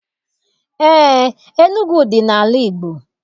Eé, Enugu dị n'ala Igbo.